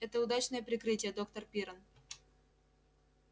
это удачное прикрытие доктор пиренн